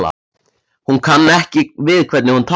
Hann kann ekki við hvernig hún talar.